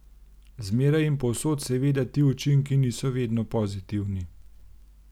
Zmeraj in povsod seveda ti učinki niso vedno pozitivni.